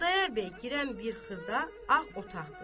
Xudayar bəy girən bir xırda ağ otaqdır.